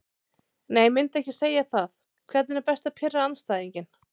Nei myndi ekki segja það Hvernig er best að pirra andstæðinginn?